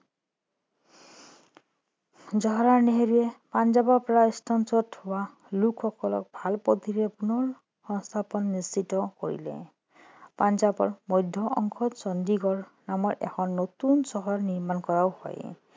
জৱাহৰলাল নেহেৰুৱে পাঞ্জাৱৰ পৰা স্থানান্তৰিত হোৱা লোকসকলক ভাল পদ্ধতিৰে পুনৰ সস্থাপনৰ নিশ্চিত কৰিলে পঞ্জাৱৰ মধ্য অংশত চণ্ডীগড় নামৰ এখন নতুন চহৰ নিৰ্মাণ কৰাও হয়